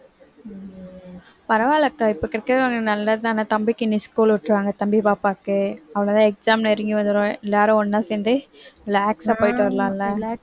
பரவாயில்லை அக்கா இப்ப நல்லதுதான தம்பிக்கு இனி school விட்டுருவாங்க தம்பி பாப்பாவுக்கு அவ்வளவுதான் exam நெருங்கி வந்திடும் எல்லாரும் ஒண்ணா சேர்ந்து relax அ போயிட்டு வரலாம்ல